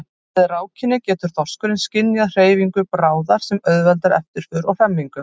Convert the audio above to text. Með rákinni getur þorskurinn skynjað hreyfingu bráðar sem auðveldar eftirför og hremmingu.